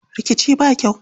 Rikici ba kyau.